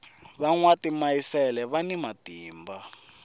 va nwa timayisele vana matimba